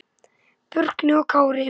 Burkni og Kári.